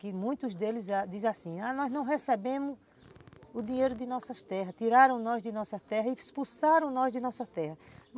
Que muitos deles dizem assim, ah, nós não recebemos o dinheiro de nossas terras, tiraram nós de nossa terra e expulsaram nós de nossa terra.